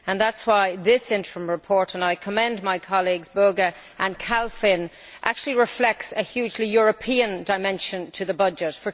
That is why this interim report and I commend my colleagues Böge and Kalfin actually reflects a hugely European dimension to the budget.